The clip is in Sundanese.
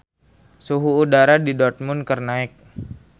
Suhu udara di Dortmund keur naek